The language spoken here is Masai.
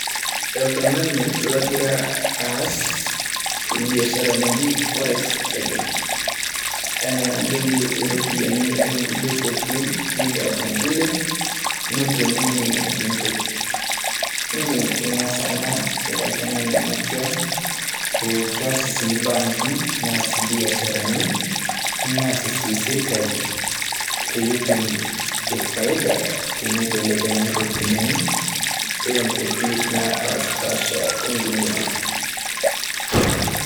Oltung`ani logira aas, e biashara naji forex trading. Enaa enadoyio rropiyiani oo nkulie kuapi neilepu nkulie netum ninye entoki. Idim nias ena ira oltung`ani makewon oo kias sii mbankii, neas ilbiasharani, neas sii sirkali peyie etum faida teneibelekenya irropiyiani ee nkuapi naapaashipapasha e dunia.